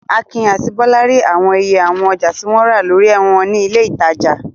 Akin àti Bọ́lá rí àwọn iye àwọn ọjà tí wọ́n rà lórí wọn ní ilé-ìtajà.